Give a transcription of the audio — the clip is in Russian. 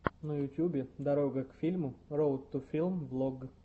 на ютубе дорога к фильму роад ту филм влог